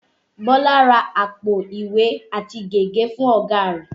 Bọlá ra àpò ìwé àti gègé fún ọ̀gá rẹ̀